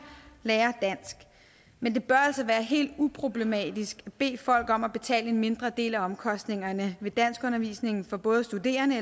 lærer dansk men det bør altså være helt uproblematisk at bede folk om at betale en mindre del af omkostningerne ved danskundervisning for både studerende